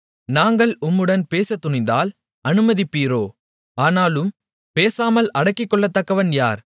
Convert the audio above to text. நாங்கள் உம்முடன் பேசத்துணிந்தால் அனுமதிப்பீரோ ஆனாலும் பேசாமல் அடக்கிக்கொள்ளத்தக்கவன் யார்